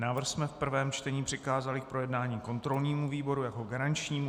Návrh jsme v prvém čtení přikázali k projednání kontrolnímu výboru jako garančnímu.